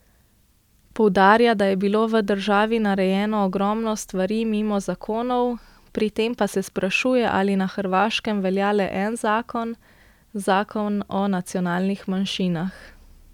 Poudarja, da je bilo v državi narejeno ogromno stvari mimo zakonov, pri tem pa se sprašuje, ali na Hrvaškem velja le en zakon, zakon o nacionalnih manjšinah.